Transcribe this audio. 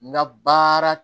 N ka baara